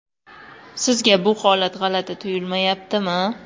Sizga bu holat g‘alati tuyulmayaptimi?..